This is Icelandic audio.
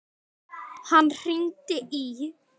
Hann hringdi í